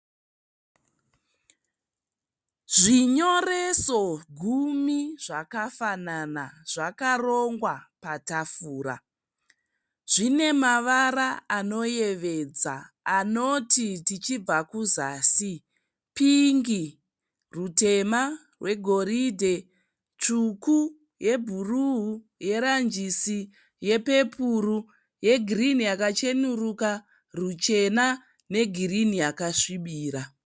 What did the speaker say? Zvinyoreso gumi zvakafanana zvakarongwa patafura, zvinemavara anoyevedza anoti tichibva kuzasi pingi, rutema, rwegoridhe tsvuku yebhuru, yeranjisi, yepepuru , yegirini yakacheneruka, ruchena negirini yakasvibirira.